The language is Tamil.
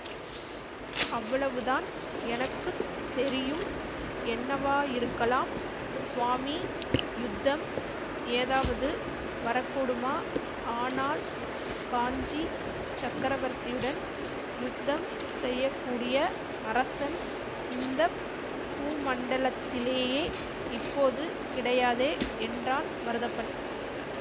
அவ்வளவுதான் எனக்கு தெரியும் என்னவாயிருக்கலாம் சுவாமி யுத்தம் ஏதாவது வரக்கூடுமா ஆனால் காஞ்சி சக்கரவர்த்தியுடன் யுத்தம் செய்ய கூடிய அரசன் இந்த பூமண்டலத்திலேயே இப்போது கிடையாதே என்றான் மருதப்பன்